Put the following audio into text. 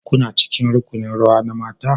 Kuna cikin rukunin rawa na mata?